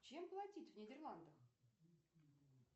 чем платить в нидерландах